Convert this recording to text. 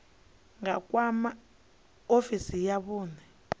nga kwama ofisi ya vhune